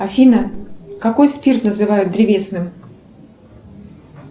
афина какой спирт называют древесным